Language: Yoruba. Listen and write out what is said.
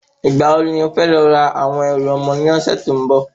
Ìgbà wo ni e fẹ́ lọ ra àwọn ẹrù ọmọ ní ọ̀sẹ̀ tó ń bò?